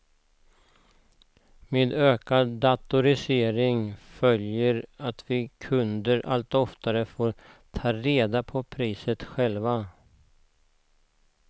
Med ökad datorisering följer att vi kunder allt oftare får ta reda på priset själva.